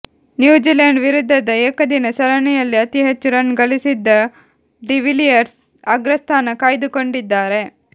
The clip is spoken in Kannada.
ನ್ಯೂಜಿಲೆಂಡ್ ವಿರುದ್ಧದ ಏಕದಿನ ಸರಣಿಯಲ್ಲಿ ಅತಿಹೆಚ್ಚು ರನ್ ಗಳಿಸಿದ್ದ ಡಿವಿಲಿಯರ್ಸ್ ಅಗ್ರಸ್ಥಾನ ಕಾಯ್ದುಕೊಂಡಿದ್ದಾರೆ